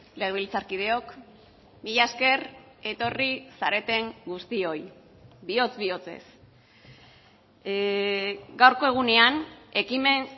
legebiltzarkideok mila esker etorri zareten guztioi bihotz bihotzez gaurko egunean ekimen